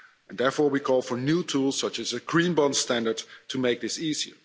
Therefore, we call for new tools, such as a Green Bond standard, to make this easy.